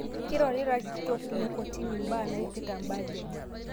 Keirorita lkitok lekotini mbaa naipirita bajet